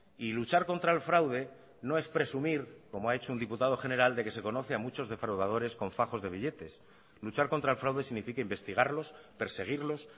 y luchar contra el fraude no es presumir como ha hecho un diputado general de que se conoce a muchos defraudadores con fajos de billetes luchar contra el fraude significa investigarlos perseguirlos